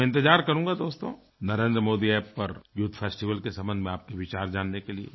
तो मैं इंतज़ार करूँगा दोस्तो नरेंद्र मोदी अप्प पर यूथ फेस्टिवल के संबंध में आपके विचार जानने के लिए